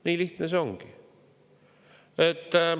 Nii lihtne see ongi.